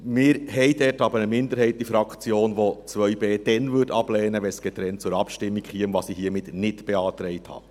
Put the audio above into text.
Wir haben in der Fraktion aber eine Minderheit, die 2b ablehnen würde, wenn es getrennt zur Abstimmung käme, was ich hiermit nicht beantragt habe.